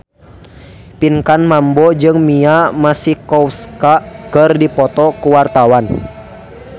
Pinkan Mambo jeung Mia Masikowska keur dipoto ku wartawan